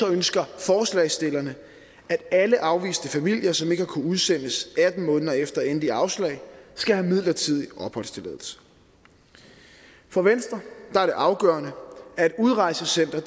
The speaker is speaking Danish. ønsker forslagsstillerne at alle afviste familier som ikke har kunnet udsendes atten måneder efter endeligt afslag skal have midlertidig opholdstilladelse for venstre er det afgørende at et udrejsecenter